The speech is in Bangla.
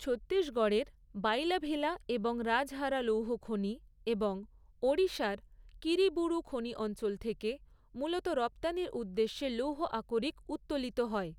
ছত্তিশগড়ের বাইলাভিলা এবং রাজহারা লৌহখনি এবং ওড়িশার কিরিবুরু খনি অঞ্চল থেকে মূলত রপ্তানির উদ্দেশ্যে লৌহ আকরিক উত্তোলিত হয়।